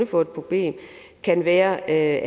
få et problem kan være at